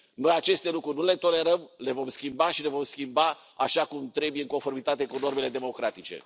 Noi aceste lucruri nu le tolerăm, le vom schimba și le vom schimba așa cum trebuie, în conformitate cu normele democratice.